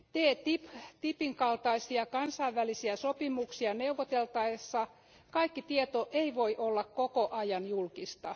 TTIP kumppanuuden kaltaisia kansainvälisiä sopimuksia neuvoteltaessa kaikki tieto ei voi olla koko ajan julkista.